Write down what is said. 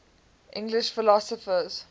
english philosophers